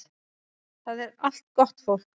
Það er allt gott fólk